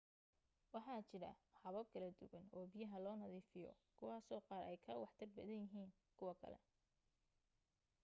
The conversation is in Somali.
waxa jira habab kala duwan oo biyaha loo nadiifiyo kuwaasoo qaar ay ka waxtar badan yihiin kuwa kale